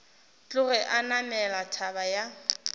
tloge a namela thaba ya